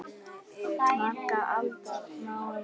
Margra alda máum út hljóm?